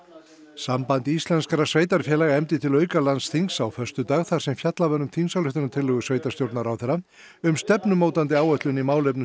samband íslenskra sveitarfélaga efndi til á föstudag þar sem fjallað var um þingsályktunartillögu sveitarstjórnarráðherra um stefnumótandi áætlun í málefnum